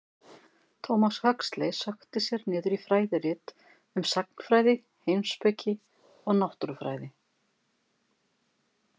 Thomas Huxley sökkti sér niður í fræðirit um sagnfræði, heimspeki og náttúrufræði.